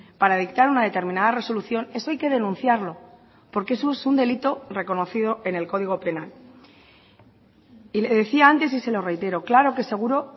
para dictar una determinada resolución eso hay que denunciarlo porque eso es un delito reconocido en el código penal y le decía antes y se lo reitero claro que es seguro